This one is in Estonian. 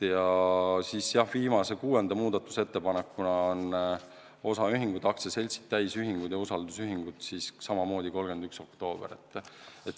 Ja viimane, kuues muudatusettepanek: osaühingud, aktsiaseltsid, täisühingud ja usaldusühingud – tähtaeg samamoodi 31. oktoober.